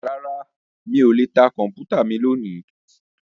Rárá mí ò lè ta Kọ̀m̀pútà mi lónìí